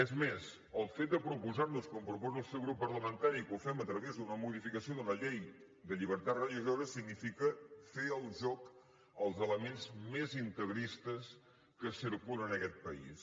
és més el fet de proposar nos com proposa el seu grup parlamentari que ho fem a través d’una modificació d’una llei de llibertat religiosa significa fer el joc als elements més integristes que circulen en aquest país